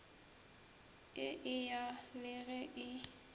e eya le ge e